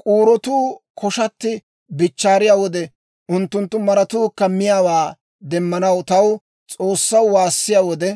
K'uurotuu koshatti bichchaariya wode, unttunttu maratuukka miyaawaa demmanaw taw, S'oossaw, waassiyaa wode,